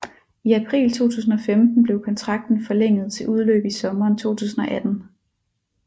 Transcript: I april 2015 blev kontrakten forlænget til udløb i sommeren 2018